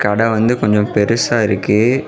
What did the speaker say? கட வந்து கொஞ்சம் பெருசா இருக்கு.